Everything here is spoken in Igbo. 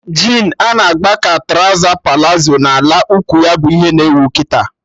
Jin a na-gba ka trọza palazo na ala ụkwụ ya bụ ihe na ewu kịta